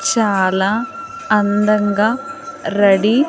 చాలా అందంగా రెడీ .